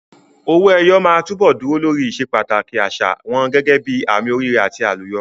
Owó ẹyọ máa túbọ̀ dúró lórí ìsepàtàkì àṣà wọn gẹ́gẹ́ bíi àmì oríire àti àlùyọ.